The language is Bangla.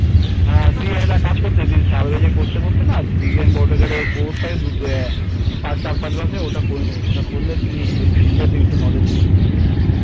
হ্যাঁ তুই একটা কাজ করতে পারিস করতে করতে না তুই design বা Autocad এর course চার পাঁচ মাসের ওটা করে নিতে পারিস ওটা করলে তুই field টাতে একটু knowledge gain করে নিতে পারবি